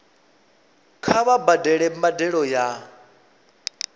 kha vha badele mbadelo ya